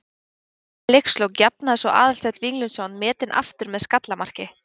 Skömmu fyrir leikslok jafnaði svo Aðalsteinn Víglundsson metin aftur með skallamarki.